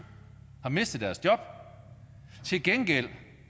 mistet deres job til gengæld